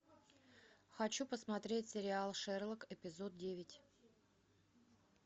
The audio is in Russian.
хочу посмотреть сериал шерлок эпизод девять